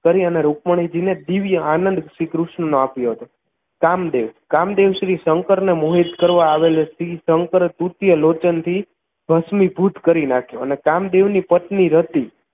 કરી અને રુકમણીજી ને દિવ્ય આનંદ શ્રીકૃષ્ણનો આપ્યો હતો કામદેવ કામદેવ શ્રી શંકરને મોહિત કરવા આવેલ શ્રી શંકર તૃતીય લોચન થી ભસ્મિભૂત કરી નાખ્યો અને કામદેવની પત્ની રતિ